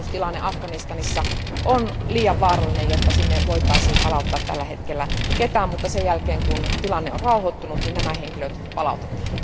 Turvallisuustilanne Afganistanissa on liian vaarallinen, jotta sinne voitaisiin palauttaa tällä hetkellä ketään, mutta sen jälkeen, kun tilanne on rauhoittunut, nämä henkilöt palautetaan.